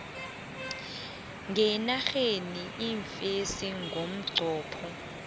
ngenarheni iimfesi ngomnqopho